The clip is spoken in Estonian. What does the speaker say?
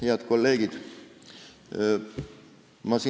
Head kolleegid!